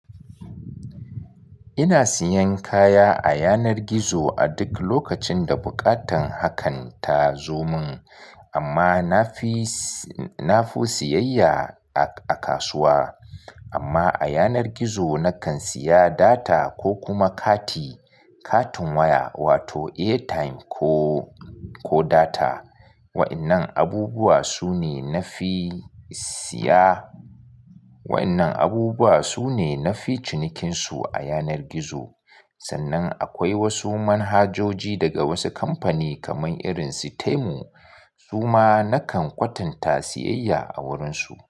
Ina siyan kaya a yanar gizo a duk lokacin da buƙatan hakan ta zo mun, amma na fi, na fi siyayya a kasuwa. Amma a yanar gizo na kan siya data ko kuma kati, katin waya wato airtime ko, ko data. Wa'annan abubuwa su ne na fi siya. Wa'annan abubuwa su ne na fi cinikinsu a yanar gizo. Sannan akwai wasu manhajoji daga wasu kamfani kamar irin su Temu. Su ma na kan kwatanta siyayya a wurinsu.